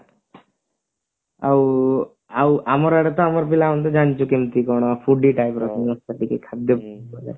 ଆଉ ଆଉ ଆମର ଆଡେ ତ ଆମର ପିଲାମାନେ ତ ଜାଣିଛୁ କେମତି କଣ foody type ର ସମସ୍ତେ ଟିକେ ଖାଦ୍ଯ ଭଲ